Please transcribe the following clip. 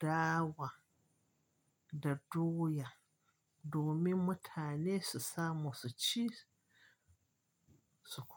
dawa da doya domin mutane su samu su ci su ko.